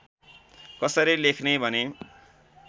कसरी लेख्ने भने